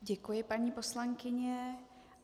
Děkuji, paní poslankyně.